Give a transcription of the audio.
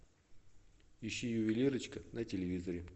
ищи ювелирочка на телевизоре